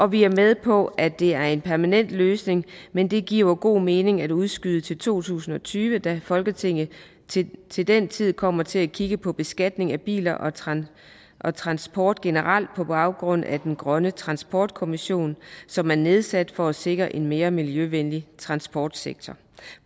vi er med på at det er en permanent løsning men det giver god mening at udskyde det til to tusind og tyve da folketinget til til den tid kommer til at kigge på beskatningen af biler og transport og transport generelt på baggrund af arbejdet i den grønne transportkommission som er nedsat for at sikre en mere miljøvenlig transportsektor